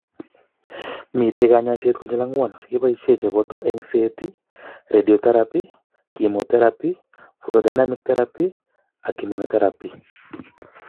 Mitei kanyoiset konyil angwan chekeboishe cheboto eng'set, radiation therapy, chemotherapy, photodynamic therapy, and immunotherapy.